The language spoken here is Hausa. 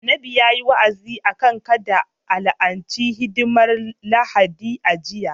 Annabi yayi wa'azi akan kada a la'ance a hidimar Lahadi a jiya